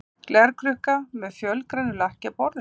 Glerkrukka með fölgrænu lakki á borðinu.